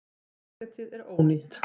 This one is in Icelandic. Parketið er ónýtt.